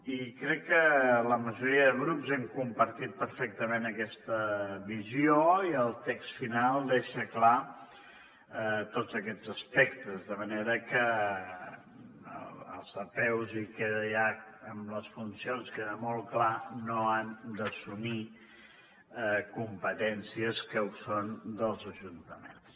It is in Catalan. i crec que la majoria de grups hem compartit perfectament aquesta visió i el text final deixa clars tots aquests aspectes de manera que les apeus i amb les funcions queda molt clar no han d’assumir competències que són dels ajuntaments